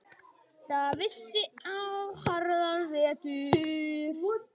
Það vissi á harðan vetur.